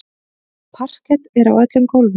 Parket er á öllum gólfum.